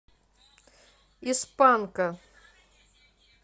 из панка